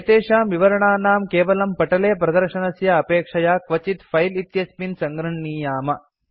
एतेषां विवरणानां केवलं पटले प्रदर्शनस्य अपेक्षया क्वचित् फिले इत्यस्मिन् सङ्गृह्णीयाम